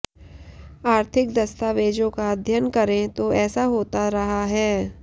आर्थिक दस्तावेजों का अध्ययन करें तो ऐसा होता रहा है